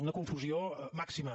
una confusió màxima